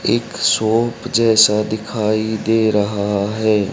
एक शॉप जैसा दिखाई दे रहा है।